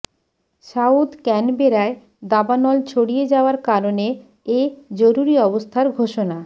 south ক্যানবেরায় দাবানল ছড়িয়ে যাওয়ার কারণে এ জরুরি অবস্থার ঘোষণা